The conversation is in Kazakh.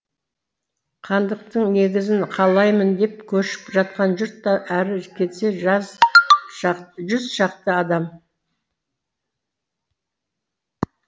хандықтың негізін қалаймын деп көшіп жатқан жұрт та әрі кетсе жүзшақты адам